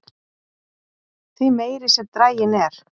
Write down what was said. því meiri sem draginn er